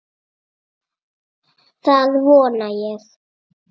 Það vona ég